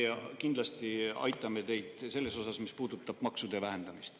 Meie kindlasti aitame teid maksude vähendamisel.